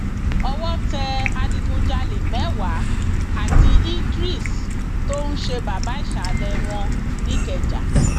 owó tẹ adigunjalè mẹwàá àti idris tó ń ṣe baba ìsàlẹ wọn nìkẹjà